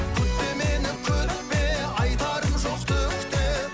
күтпе мені күтпе айтарым жоқ түк те